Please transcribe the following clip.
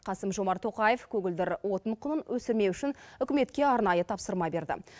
қасым жомарт тоқаев көгілдір отын құнын өсірмеу үшін үкіметке арнайы тапсырма берді